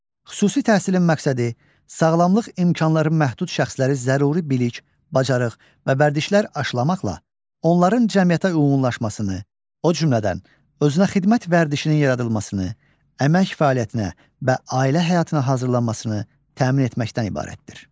Xüsusi təhsilin məqsədi sağlamlıq imkanları məhdud şəxsləri zəruri bilik, bacarıq və vərdişlər aşılamaqla onların cəmiyyətə uyğunlaşmasını, o cümlədən, özünə xidmət vərdişinin yaradılmasını, əmək fəaliyyətinə və ailə həyatına hazırlanmasını təmin etməkdən ibarətdir.